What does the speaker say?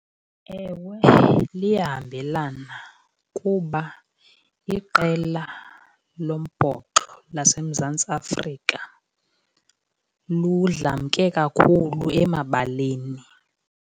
Ewe, liyahambelana kuba iqela lombhoxo laseMzantsi Afrika ludlamke kakhulu emabaleni.